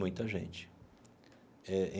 Muita gente eh.